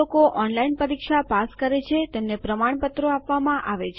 જે લોકો ઓનલાઈન પરીક્ષા પાસ કરે છે તેમને પ્રમાણપત્રો આપવામાં આવે છે